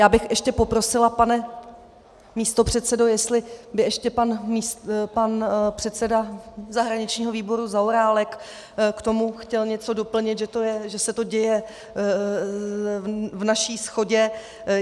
Já bych ještě poprosila, pane místopředsedo, jestli by ještě pan předseda zahraničního výboru Zaorálek k tomu chtěl něco doplnit, že se to děje v naší shodě.